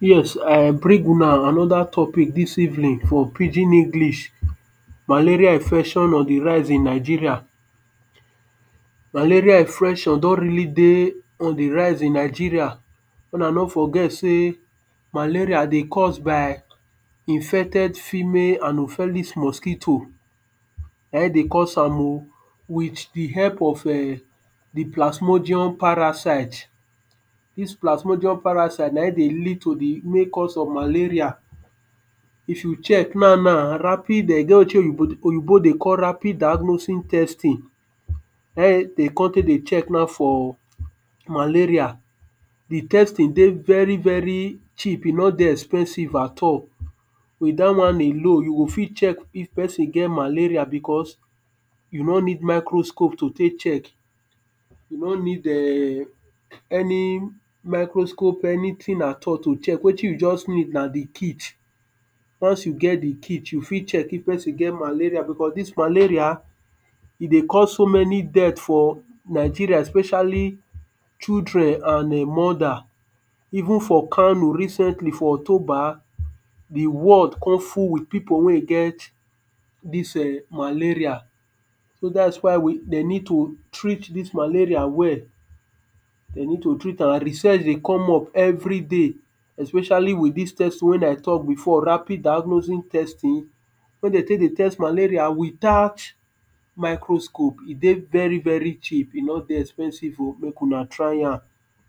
Yes I bring una another topic dis evening for pidgin English, malaria infection on di raise in Nigeria malaria infection don really dey on di rise in Nigeria, make una no forget sey malaria dey cause by infected female hanopheles mosquito. na im dey cause am oh, with di help of um di plasgmodium parasite. dis platmodium parasite na im dey lead to di main cause of malaria. if you check now now rapid um e get wetin oyibo dey call rapid diagnosting testing, na im dem kon take dey check now for malaria. di testing dey very very cheap e nor dey expensive at all, with dat one alone you go fit check if person get malaria because, you nor need micro scope to take check. you nor need [urn] any micro scope anything at all to take check wetin you just need na di kich. once you get di kich you fit check if person get malaria because dis malaria, e dey cause so many death for Nigeria especially children and um mother. even for Kano recently for october, di world come full with people wen get dis um malaria. so dats why we dem need to treat dis malaria well, dem need to treat am research dey come up every day, especially with dis test wen I talk before rapid diagnosing testing wen dem take dey test malaria without micro scope e dey very very cheap, e nor dey expensive oh make una try am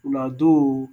una do oh.